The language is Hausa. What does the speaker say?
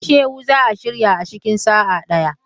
Isiewu za a shirya a cikin sa'a ɗaya.